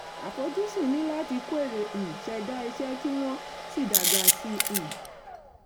àfojúsùn ni láti kó èrè um ṣẹda iṣẹ́ kí wọ́n sì dágbà sí um i.